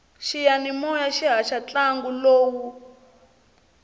xiyanimoya xi haxa ntlangu lowu